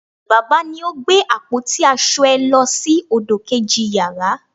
baba ni o gbe apoti asọ è lo sí ọdọ keji yara